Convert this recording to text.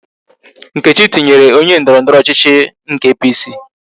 Nkechi tụnyere onye ndọrọndọrọ ọchịchị nke APC